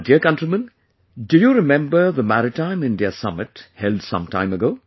My dear countrymen, do you remember the Maritime India Summit held sometime ago